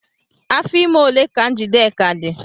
Afọ ime ole ka Njideka dị?